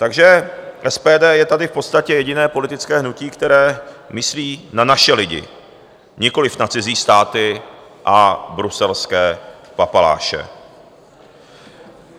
Takže SPD je tady v podstatě jediné politické hnutí, které myslí na naše lidi, nikoliv na cizí státy a bruselské papaláše.